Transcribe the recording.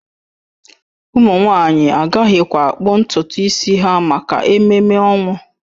Ụmụ nwanyị agaghịkwa akpụ ntutu isi ha maka ememe ọnwụ